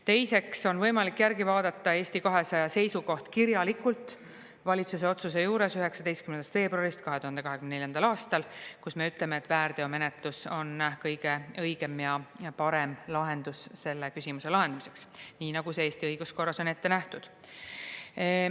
Teiseks on võimalik järgi vaadata Eesti 200 seisukoht kirjalikult valitsuse otsuse juures 19. veebruarist 2024. aastal, kus me ütleme, et väärteomenetlus on kõige õigem ja parem lahendus selle küsimuse lahendamiseks, nii nagu see Eesti õiguskorras on ette nähtud.